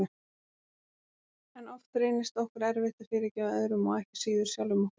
En oft reynist okkur erfitt að fyrirgefa öðrum og ekki síður sjálfum okkur.